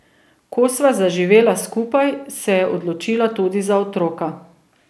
Ko sva zaživela skupaj, se je odločila tudi za otroka.